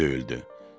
Qapı döyüldü.